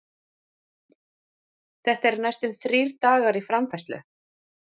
Þetta er næstum þrír dagar í framfærslu?